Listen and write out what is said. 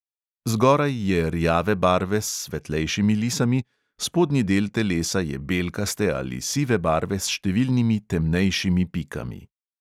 Zgoraj je rjave barve s svetlejšimi lisami, spodnji del telesa je belkaste ali sive barve s številnimi temnejšimi pikami.